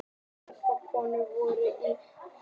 Margar konur voru í hópnum